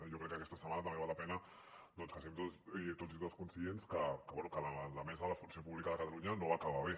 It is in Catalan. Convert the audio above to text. jo crec que aquesta setmana també val la pena que siguem tots i totes conscients que bé que la mesa de la funció pública de catalunya no va acabar bé